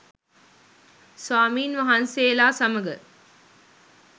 ස්වාමීන් වහන්සේලා සමඟ